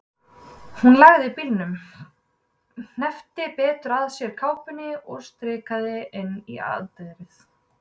Hún lagði bílnum, hneppti betur að sér kápunni og stikaði inn í anddyrið.